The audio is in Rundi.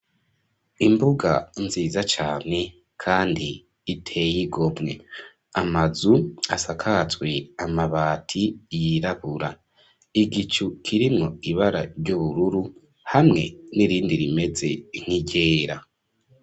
Imbuga nziza cane kandi iteye igomwe, amazu asakajwe amabati yirabura, igicu kirimwo ibara ry'ubururu hamwe n'irindi rimeze nk'iryera.